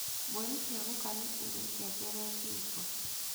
Mbũri cia guka nĩ irĩ ngengere ngingo.